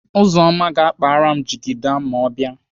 Uzumma ga-akpara m jigida ma ọ bịa.